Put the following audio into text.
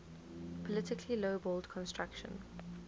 politically lowballed construction